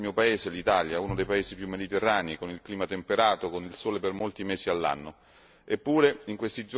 Io le porto la testimonianza del mio paese, l'Italia, uno dei paesi più mediterranei, con il clima temperato e con il sole per molti mesi all'anno.